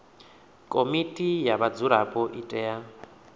komiti ya vhadzulapo i tea